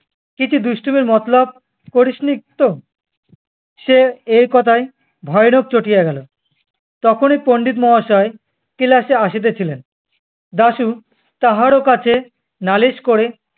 তুই কি দুষ্টমির মতলব করিস নি তো? সে এ কথায় ভয়ানক চটিয়া গেলো। তখনি পণ্ডিত মহাশয় class এ আসিতেছিলেন। দাশু তাহারও কাছে নালিশ করে